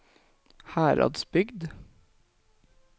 Heradsbygd